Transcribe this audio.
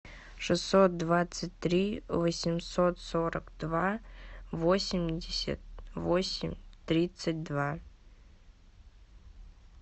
шестьсот двадцать три восемьсот сорок два восемьдесят восемь тридцать два